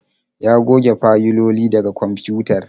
Ya goge fayiloli daga kwamfutar